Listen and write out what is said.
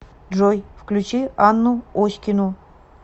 джой включи анну оськину